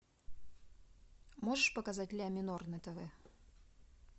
можешь показать ля минор на тв